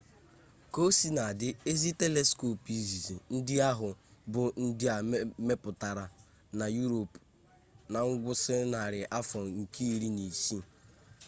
kaosinadị ezi teliskop izizi ndị ahụ bụ ndị e mepụtara na yurop na ngwụsị narị afọ nke iri na isii